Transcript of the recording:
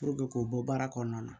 k'o bɔ baara kɔnɔna na